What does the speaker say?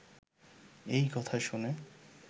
এই কথা শুনে